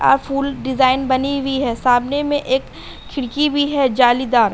आ फूल डिज़ाइन बनी हुई है। सामने में एक खिड़की भी है जालीदार।